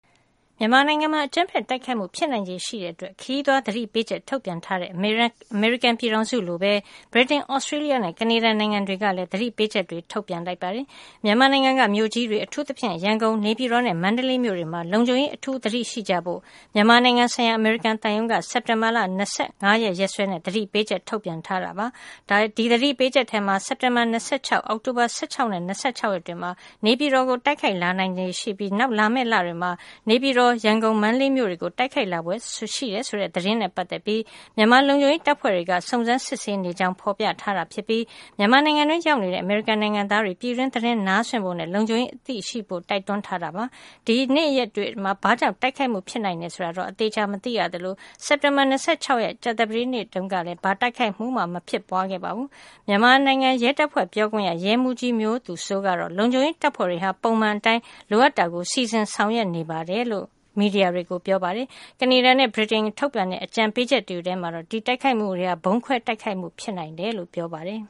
မြန်မာနိုင်ငံမှာ အကြမ်းဖက်တိုက်ခိုက်မှု ဖြစ်နိုင်ချေရှိတဲ့အတွက် ခရီးသွားသတိပေးချက် ထုတ်ပြန်ထားတဲ့ အမေရိကန်ပြည်ထောင်စုလိုပဲ ဗြိတိန်၊ သြစတြေးလျနဲ့ ကနေဒါနိုင်ငံတွေကလည်း သတိပေးချက် ထုတ်ပြန်လိုက်ပါတယ်။ မြန်မာနိုင်ငံက မြို့ကြီးတွေ အထူးသဖြင့် ရန်ကုန်၊ နေပြည်တော်နဲ့ မန္တလေးမြို့တွေမှာ လုံခြုံရေး အထူးသတိရှိကြဖို့ မြန်မာနိုင်ငံဆိုင်ရာ အမေရိကန်သံရုံးက စက်တင်ဘာ ၂၅ ရက်စွဲနဲ့ သတိပေးချက် ထုတ်ပြန်ခဲ့တာပါ။ အဲဒီသတိပေးချက်ထဲမှာ စက်တင်ဘာ ၂၆၊ အောက်တိုဘာ ၁၆ နဲ့ ၂၆ ရက်တွေမှာ နေပြည်တော်ကို တိုက်ခိုက်လာနိုင်ခြေရှိပြီး နောက်လာမယ့်လတွေမှာ နေပြည်တော်၊ ရန်ကုန်၊ မန္တလေးမြို့တွေကို တိုက်ခိုက်လာဖွယ် ရှိတယ်ဆိုတဲ့ သတင်းနဲ့ပတ်သက်ပြီး မြန်မာလုံခြုံရေးတပ်ဖွဲ့တွေက စုံစမ်းစစ်ဆေးနေကြောင်း ဖော်ပြထားတာဖြစ်ပြီး မြန်မာနိုင်ငံတွင်း ရောက်နေကြတဲ့ အမေရိကန်နိုင်ငံသားတွေ ပြည်တွင်းသတင်းကို နားစွင့်ဖို့နဲ့ လုံခြုံရေးအသိ ရှိကြဖို့ကိုလည်း တိုက်တွန်းထားတာဖြစ်ပါတယ်။ ဒီနေ့ရက်တွေမှာ ဘာကြောင့် တိုက်ခိုက်မှုတွေ ဖြစ်နိုင်တယ် ဆိုတာတွေကိုတော့ အသေအချာ မသိရသလို စက်တင်ဘာ ၂၆ ရက်နေ့တုန်းကလည်း ဘာတိုက်ခိုက်မှုမှ မဖြစ်ပွားခဲ့ပါဘူး။ မြန်မာနိုင်ငံရဲတပ်ဖွဲ့ ပြောခွင့်ရ ရဲမှူးကြီး မျိုးသူစိုးကတော့ လုံခြုံရေးတပ်ဖွဲ့တွေဟာ ပုံမှန်အတိုင်း လိုအပ်တာကို စီစဉ်ဆောင်ရွက်နေပါတယ်လို့ မီဒီယာတွေကို ရှင်းပြထားပါတယ်။ ကနေဒါနဲ့ ဗြိတိန်က ထုတ်ပြန်တဲ့ အကြံပေးချက်တွေထဲမှာတော့ ဒီတိုက်ခိုက်မှုတွေဟာ ဗုံးခွဲတိုက်ခိုက်မှု ဖြစ်နိုင်တယ်လို့ ပြောပါတယ်